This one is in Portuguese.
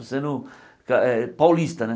Sendo ah ah paulista, né?